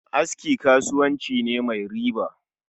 Aski kasuwanci ne mai riba